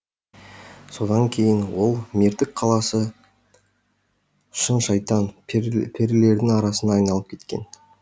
содан кейін ол мертік қаласы жын шайтан перілердің арасына айналып кеткен